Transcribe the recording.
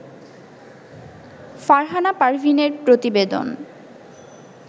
ফারহানা পারভীনের প্রতিবেদন